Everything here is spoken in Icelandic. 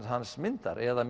hans mynd þar eða